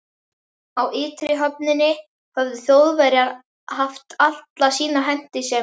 Á ytri höfninni höfðu Þjóðverjar haft alla sína hentisemi.